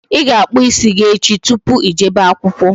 Ị ga-akpụ ịsị gi echi tupu Ị jebe akwụkwọ